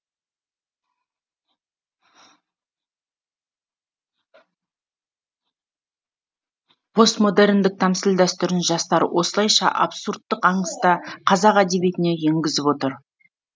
постмодерндік тәмсіл дәстүрін жастар осылайша абсурдтық аңыста қазақ әдебиетіне енгізіп отыр